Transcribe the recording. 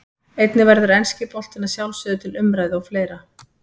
Einnig verður enski boltinn að sjálfsögðu til umræðu og fleira.